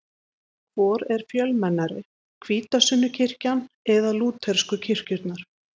Hvor er fjölmennari, hvítasunnukirkjan eða lútersku kirkjurnar?